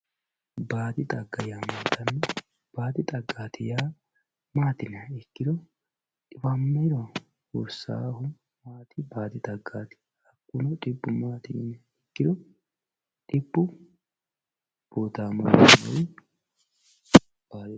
baadi xaggaati yaa mayyaate baadi xagga yaa maati yiniha ikkiro xiwammiro hursawoohu maati baadi xaggaati hakkuno xibbu maati yiniha ikkiro xibbu buutaamo lawewoori sukkaare.